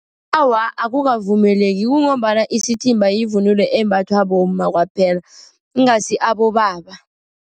Awa, akukavumeleki kungombana isithimba yivunulo embathwa bomma kwaphela, ingasi abobaba.